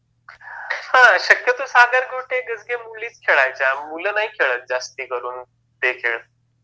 हा शक्यतो सागर गोटे गजगे मुलीच खेळायच्या, मुलं नाही खेळात जास्ती करून ते खेळ